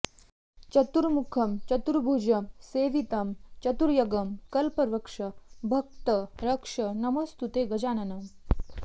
चतुर्मुखं चतुर्भुजं सेवितं चतुर्यगं कल्पवृक्ष भक्त रक्ष नमोऽस्तुते गजाननम्